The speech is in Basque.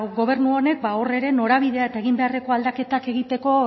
gobernu honek ba hor ere norabidea eta egin beharreko aldaketak egiteko